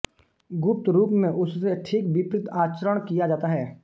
गुप्त रूप में उससे ठीक विपरीत आचरण किया जाता है